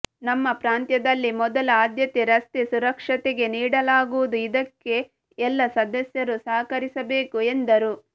ನಮ್ಮ ಪ್ರಾಂತದಲ್ಲಿ ಮೊದಲ ಆಧ್ಯತೆ ರಸ್ತೆ ಸುರಕ್ಷತೆಗೆ ನೀಡಲಾಗುವುದು ಇದಕ್ಕೆ ಎಲ್ಲ ಸದಸ್ಯರು ಸಹಕರಿಸಬೇಕು ಎಂದರು